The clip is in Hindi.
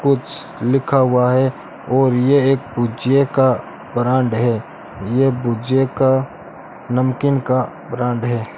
कुछ लिखा हुआ है और ये एक पूज्य का ब्रांड है ये पूज्य का नमकीन का ब्रांड है।